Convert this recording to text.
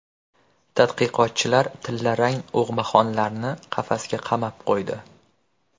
Tadqiqotchilar tillarang og‘maxonlarni qafasga qamab qo‘ydi.